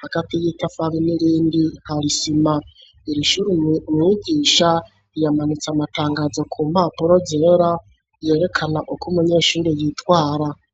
hagati y'itafari n'irindi harisima, irishuri umwigisha yamanitse amatangazo ku mpapuro zera yerekana uko munyeshuri yitwara.